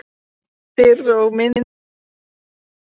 Heimildir og myndir: Snævarr Guðmundsson.